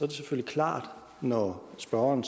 det selvfølgelig klart at når spørgeren